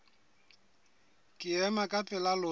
ke ema ka pela lona